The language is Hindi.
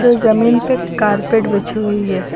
जमीन पे कारपेट बिछी हुई है।